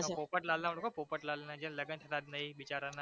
પોપટલાલ ને ઓળખો પોપટલાલને જેના લગન નોતા થયા એ બિચારાના